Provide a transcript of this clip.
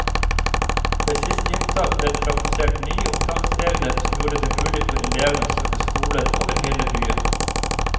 Ved siste inntak ble det praktisert nye opptaksregler som gjorde det mulig for elevene å søke skoler over hele byen.